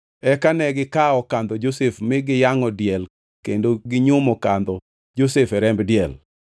Eka negikawo kandho Josef, mi giyangʼo diel kendo ginyumo kandho Josef e remb diel.